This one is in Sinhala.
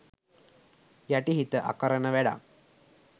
යටිහිත අකරණ වැඩක්.